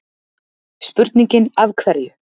Spurningin Af hverju?